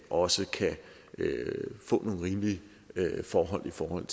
også kan få nogle rimelige forhold i forhold